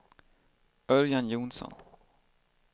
Örjan Johnsson